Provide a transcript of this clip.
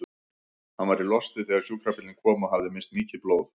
Hann var í losti þegar sjúkrabíllinn kom og hafði misst mikið blóð.